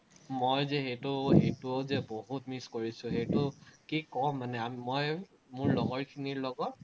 মই যে সেটো, সেটোও যে বহুত miss কৰিছো, সেটো কি ক'ম মানে মই মোৰ লগৰখিনি লগত